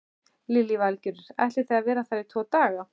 Lillý Valgerður: Ætlið þið að vera þar í tvo daga?